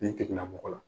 Nin tigilamɔgɔ la